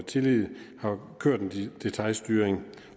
tillid har kørt en detailstyring